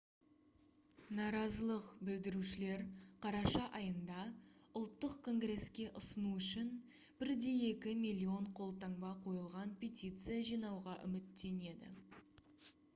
наразылық білдірушілер қараша айында ұлттық конгреске ұсыну үшін 1,2 миллион қолтаңба қойылған петиция жинауға үміттенеді